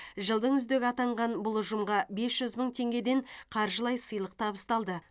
жылдың үздігі атанған бұл ұжымға бес жүз мың теңгеден қаржылай сыйлық табысталды